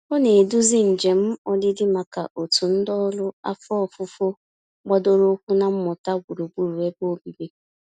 Ọ na-eduzi njem ọdịdị maka òtù ndị ọrụ afọ ofufo gbadoroụkwụ na mmụta gburugburu ebe obibi.